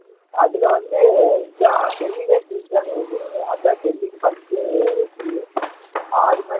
அதுல வந்து இதுதான் டெல்லிதான் ஜெயிச்சாங்க இது அதுதான் டெல்லிக்கு first வெற்றி ஆறு match